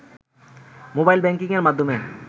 mobile ব্যাংকিংয়ের মাধ্যমে